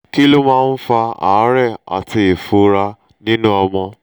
kí ló máa ń fa àárẹ̀ àti ìfunra nínú ọmọ?